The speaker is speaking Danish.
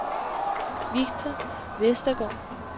Victor Westergaard